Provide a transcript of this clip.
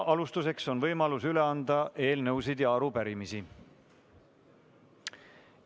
Alustuseks on võimalus üle anda eelnõusid ja arupärimisi.